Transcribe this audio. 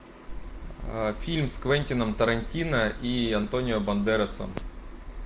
фильм с квентином тарантино и антонио бандерасом